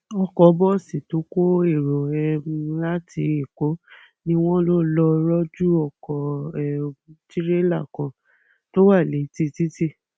ọkọ bọọsì tó kọ èrò um láti èkó ni wọn lò lọọ rọjú ọkọ um tìrẹlà kan tó wà létí títì